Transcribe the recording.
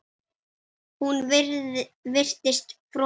Hún virtist frosin.